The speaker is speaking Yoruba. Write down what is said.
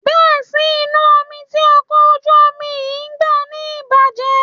Bẹ́ sí inú omi tí ọkọ̀ ojú omi yín bá ní ìjàm̀bá